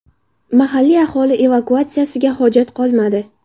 Mahalliy aholi evakuatsiyasiga hojat qolmadi.